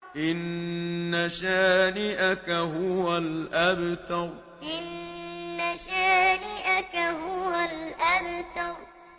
إِنَّ شَانِئَكَ هُوَ الْأَبْتَرُ إِنَّ شَانِئَكَ هُوَ الْأَبْتَرُ